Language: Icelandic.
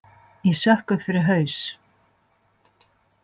Ég sökk upp fyrir haus.